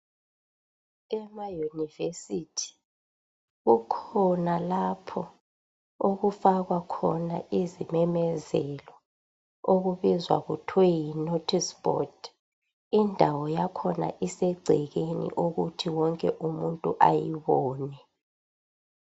Ema university kukhona lapho okufakwa khona izimemezelo okubizwa kuthiwa yi notice board. Indawo yakhona isegcekeni ukuthi wonke umuntu ayibone